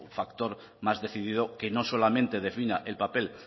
factor más decidido que no solamente defina el papel